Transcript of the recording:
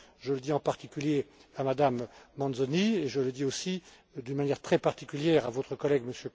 Je le dis en particulier à Mme Mazzoni et je le dis aussi d'une manière très particulière à votre collègue,